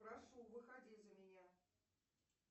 прошу выходи за меня